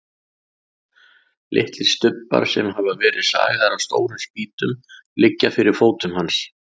Litlir stubbar sem hafa verið sagaðir af stórum spýtum liggja fyrir fótum hans.